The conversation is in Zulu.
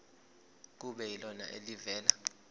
kube yilona elivela